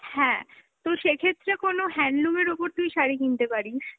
হ্যাঁ, তো সেক্ষেত্রে কোন handloom এর ওপর তুই শাড়ি কিনতে পারিস।